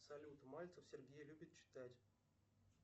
салют мальтов сергей любит читать